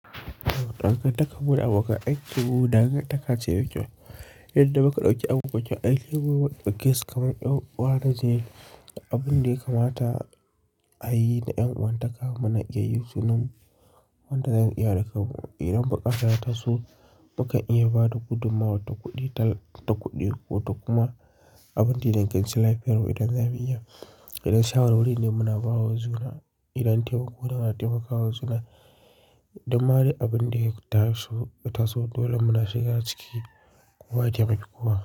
Ɗan gantarkarmu da abokan aikinmu dangantakace mai kyau Yadda muka ɗauki abokan aikinmu muka dauki abokan aikinmu mundaukesu kamar yan uwa na jini Abin da ya kamata a yi da ɗan uwanta kamana iya yi su nan. Wanda zan iya ɗauka. Idan muka taso, muka iya bada gudummawa ta kuɗi ko ta kuma abin da na ganshi life hero idan za mu iya. Idan shawara wuri ne muna bawa juna, idan taimako don a taimakawa juna, idan mare abin da ya taso dole muna shiga ciki kowa ya taimaki kowa.